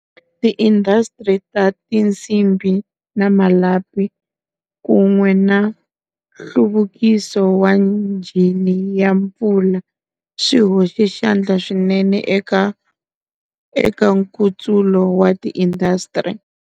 Tiindasitiri ta tinsimbi na malapi, kun'we na nhluvukiso wa njhini ya mpfula, swi hoxe xandla swinene eka Nkutsulo wa Tiindasitiri.